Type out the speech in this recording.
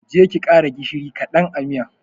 Je ki ki ƙara gishiri ƙadan a miyar.